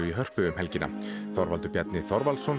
í Hörpu um helgina Þorvaldur Bjarni Þorvaldsson